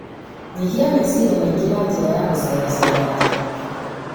Nyihia meciria maingĩ na njĩra ya gũcerecera nja.